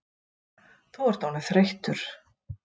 Þú ert orðinn þreyttur